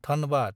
Dhanbad